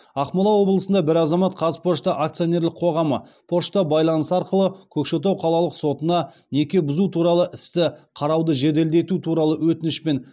ақмола облысында бір азамат қазпошта акционерлік қоғамы пошта байланысы арқылы көкшетау қалалық сотына неке бұзу туралы істі қарауды жеделдету туралы өтінішпен